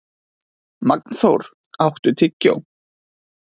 Magnþór, áttu tyggjó?